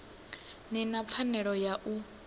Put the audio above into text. ni na pfanelo ya u